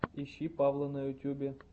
ищи павла на ютубе